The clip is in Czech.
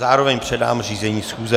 Zároveň předám řízení schůze.